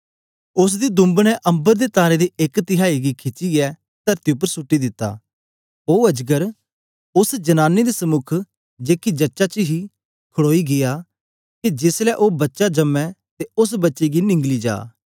उस्स दी दुंब ने अम्बर दे तारें दी एक तिहाई गी खिचीये तरती उपर सुट्टी दिता ओ अजगर उस्स जनानी दे समुक जेकी जच्चा हे खड़ोई गीया के जेस ले ओ बच्चा जम्मे ते उस्स बच्चे गी निंगली जा